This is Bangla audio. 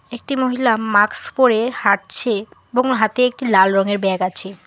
একটি মহিলা মাক্স পরে হাঁটছে এবং হাতে একটি লাল রঙের ব্যাগ আছে।